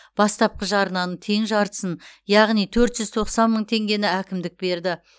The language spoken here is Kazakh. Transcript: бастапқы жарнаның тең жартысып яғни төрт жүз тоқсан мың теңгені әкімдік берді